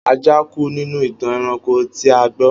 Ajá kú nínú ìtàn ẹranko tí a gbọ́.